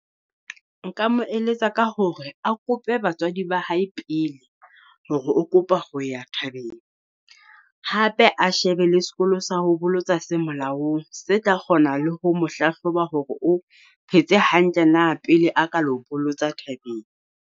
Nka mo eletsa ka hore a kope batswadi ba hae pele hore o kopa ho ya thabeng. Hape a shebe le sekolo sa ho bolotsa se molaong se tla kgona le ho mo hlahloba hore o phetse hantle na pele a ka lo bolotsa thabeng.